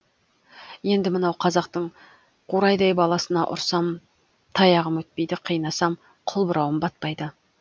енді мынау қазақтың қурайдай баласына ұрсам таяғым өтпейді қинасам қылбұрауым батпайды